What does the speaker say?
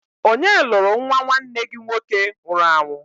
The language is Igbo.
Onye lụrụ nnwa nwanne gị nwoke nwụrụ anwụ?